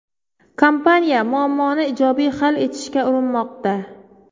Kompaniya muammoni ijobiy hal etishga urinmoqda.